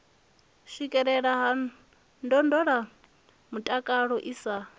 swikelelea ha ndondolamutakalo i sa